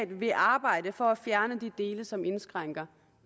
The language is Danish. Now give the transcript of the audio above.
vil arbejde for at fjerne de dele som indskrænker